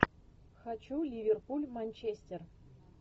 хочу ливерпуль манчестер